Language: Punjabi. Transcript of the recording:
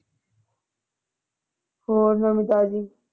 ਹੋਰ ਨਵੀਂ ਤਾਜ਼ੀ।